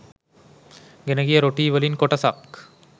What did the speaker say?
ගෙනගිය රොටී වලින් කොටසක්